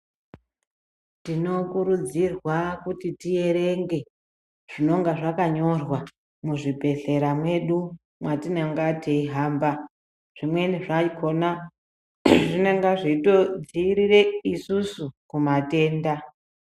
Tinokurudzirwa kuti tierenge zvinonga zvakanyorwa muzvibhedhlera mwedu mwatinonga teihamba, zvimweni zvakhona zvinonga zveitodziirire isusu kumatenda.